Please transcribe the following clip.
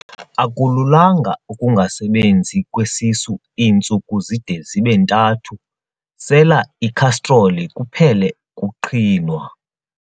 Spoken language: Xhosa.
Akulunganga ukungasebenzi kwesisu iintsuku zide zibe ntathu, sela ikhastroli kuphele ukuqhinwa.